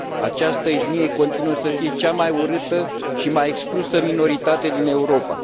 Această etnie continuă să fie cea mai urâtă și mai exclusă minoritate din Europa.